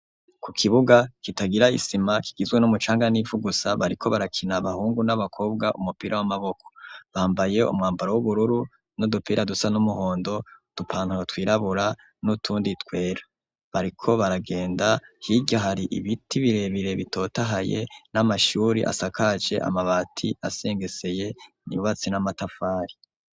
Ku kibuga kitagira isima, kigizwe n'umucanga n'ivu gusa, bariko barakina abahungu n'abakobwa umupira w'amaboko, bambaye umwambaro w'ubururu n'udupira dusa n'umuhondo, udupantaro twirabura n'utundi twera, bariko baragenda, hirya hari ibiti birebire bitotahaye n'amashuri asakaje amabati, asengeseye yubatse n'amatafari.